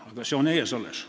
Aga see seisab alles ees.